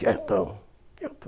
Quietão,